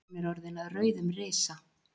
hún er orðin að rauðum risa